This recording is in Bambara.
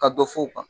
Ka dɔ fɔ u kan